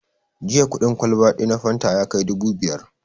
Jiya kuɗin kwalba ɗaya na fanta ya kai dubu biyar